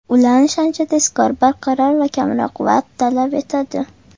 Ulanish ancha tezkor, barqaror va kamroq vaqt talab etadi.